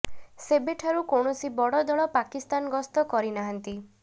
ସେବେଠାରୁ କୌଣସି ବଡ଼ ଦଳ ପାକିସ୍ତାନ ଗସ୍ତ କରି ନାହାନ୍ତି